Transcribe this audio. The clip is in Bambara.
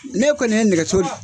Ne kɔni ye nɛgɛso di